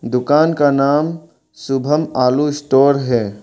दुकान का नाम शुभम आलू स्टोर है।